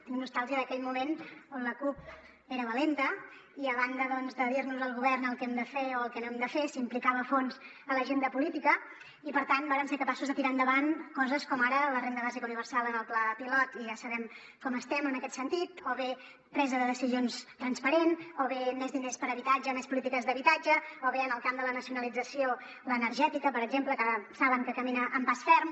tinc nostàlgia d’aquell moment en què la cup era valenta i a banda doncs de dirnos al govern el que hem de fer o el que no hem de fer s’implicava a fons en l’agenda política i per tant vàrem ser capaços de tirar endavant coses com ara la renda bàsica universal en el pla pilot i ja sabem com estem en aquest sentit o bé presa de decisions transparent o bé més diners per a habitatge més polítiques d’habitatge o bé en el camp de la nacionalització l’energètica per exemple que saben que camina amb pas ferm